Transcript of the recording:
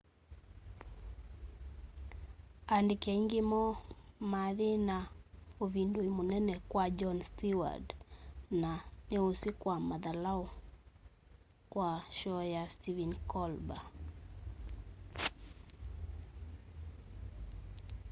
andiki aingi moo mathi na uvindui munene kwa jon steward na niusi sya mathalau sya shoo ya stephen colber